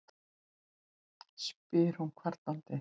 spyr hún kvartandi.